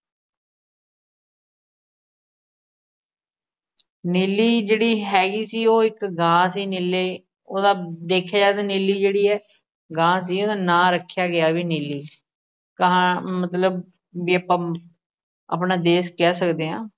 ਨੀਲੀ ਜਿਹੜੀ ਹੈਗੀ ਸੀ। ਉਹ ਇੱਕ ਗਾ ਸੀ। ਨੀਲੇ ਉਹਦਾ ਦੇਖਿਆ ਜਾਵੇ ਨੀਲੀ ਜਿਹੜੀ ਐ ਗਾ ਸੀ। ਉਹਦਾ ਨਾਂ ਰੱਖਿਆ ਗਿਆ ਵੀ ਨੀਲੀ ਕਹਾ ਮਤਲਬ ਵੀ ਆਪਾਂ ਆਪਣਾ ਦੇਸ਼ ਕਹਿ ਸਕਦੇ ਹਾਂ।